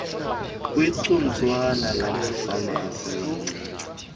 kwigcuntswana lamafama asemancinci